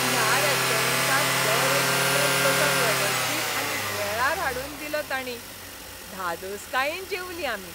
ह्या रेस्टॉरंटांत दर एक जिनस कसो वेवस्थीत आनी वेळार हाडून दिलो तांणी. धादोसकायेन जेवलीं आमी.